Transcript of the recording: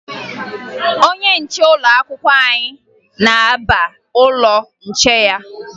Onye nche ụlọakwụkwọ anyị na-aba n'ụlọ nche ya